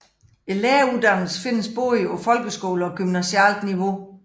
Læreruddannelserne findes både på folkeskole og gymnasialt niveau